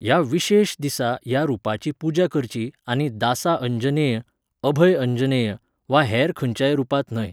ह्या विशेश दिसा ह्या रुपाची पुजा करची आनी दासा अंजनेय, अभय अंजनेय, वा हेर खंयच्याय रुपांत न्हय.